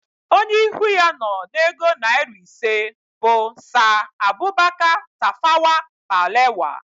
Onye ihu ya nọ na ego naịra ise bụ Saa Abubaka Tafawa Balewa